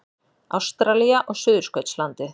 Ástralía og Suðurskautslandið.